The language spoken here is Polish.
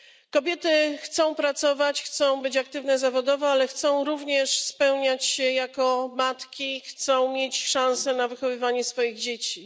Kobiety chcą pracować, chcą być aktywne zawodowo, ale chcą również spełniać się jako matki i chcą mieć szansę na wychowywanie swoich dzieci.